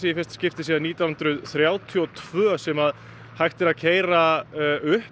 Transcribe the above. í fyrsta skipti síðan nítján hundruð þrjátíu og tvö sem hægt er að keyra upp